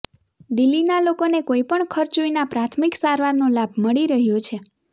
દિલ્હીના લોકોને કોઈપણ ખર્ચ વિના પ્રાથમિક સારવારનો લાભ મળી રહ્યો છે